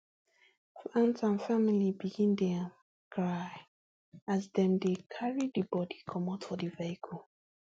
fans and families begin dey um cry as dem dey carry di bodi comot for di vehicle